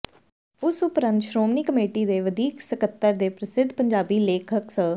ਇਸ ਉਪਰੰਤ ਸ਼੍ਰੋਮਣੀ ਕਮੇਟੀ ਦੇ ਵਧੀਕ ਸਕੱਤਰ ਤੇ ਪ੍ਰਸਿੱਧ ਪੰਜਾਬੀ ਲੇਖਕ ਸ